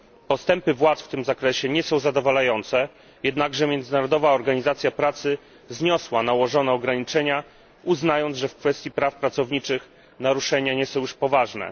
Postępy władz w tym zakresie nie są zadowalające, jednakże Międzynarodowa Organizacja Pracy zniosła nałożone ograniczenia, uznając, że w kwestii praw pracowniczych naruszenia nie są już poważne.